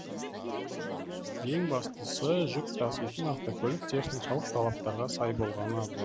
ең бастысы жүк таситын автокөлік техникалық талаптарға сай болғаны абзал